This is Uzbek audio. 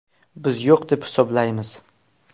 Biz yo‘q deb hisoblaymiz.